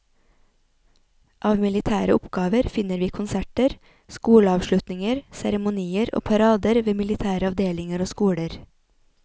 Av militære oppgaver finner vi konserter, skoleavslutninger, seremonier og parader ved militære avdelinger og skoler.